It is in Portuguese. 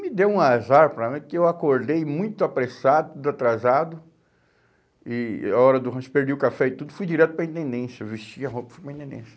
Me deu um azar para mim, porque eu acordei muito apressado, atrasado, e e a hora do rancho, perdi o café e tudo, fui direto para a intendência, vesti a roupa e fui para a intendência.